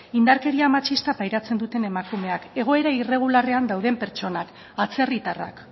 indarkeria matxista pairatzen duten emakumeak egoera irregularrean dauden pertsonak atzerritarrak